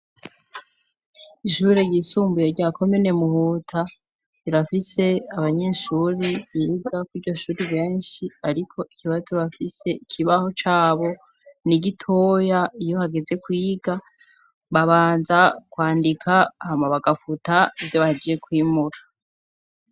Ishure ryisumbuye rya komine Muhuta. Rirafise abanyeshuri biga ku'iryo shuri benshi, ariko ikibazo bafise ikibaho c'abo ni gitoya. Iyo hageze kuyiga, babanza kwandika hama bagafuta ivyo baheje kwimura.